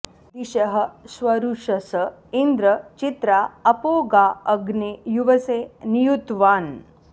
दिशः स्वरुषस इन्द्र चित्रा अपो गा अग्ने युवसे नियुत्वान्